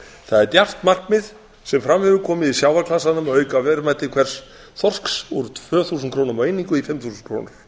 það er djarft markmið sem fram hefur komið í sjávarklasanum að auka verðmæti hvers þorsks úr tvö þúsund krónum á einingu í fimm þúsund